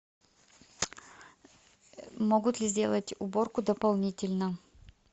могут ли сделать уборку дополнительно